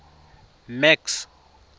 max